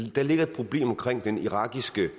der ligger et problem omkring den irakiske